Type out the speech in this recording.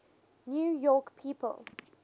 new york people